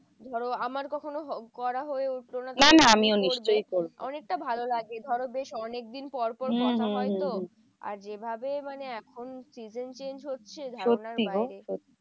ধরো আমার কখনো করা হয়ে উঠতো না। অনেকটা ভালো লাগে ধরো বেশ অনেক দিন পর পর কথা হয় তো? আর যেভাবে মানে এখন season change হচ্ছে ধারণার বাইরে।